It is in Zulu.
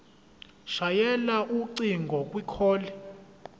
shayela ucingo kwicall